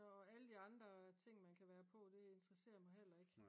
så alle de andre ting man kan være på det interesserer mig heller ikke